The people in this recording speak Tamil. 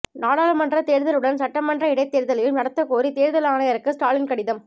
நாடாளுமன்றத் தேர்தலுடன் சட்டமன்ற இடைத்தேர்தலையும் நடத்தக்கோரி தேர்தல் ஆணையருக்கு ஸ்டாலின் கடிதம்